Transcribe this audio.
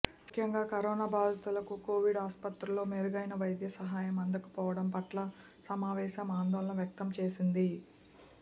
ముఖ్యంగా కరోనా బాధితులకు కోవిడ్ ఆసుపత్రుల్లో మెరుగైన వైద్య సహాయం అందకపోవడం పట్ల సమావేశం ఆందోళన వ్యక్తం చేసింది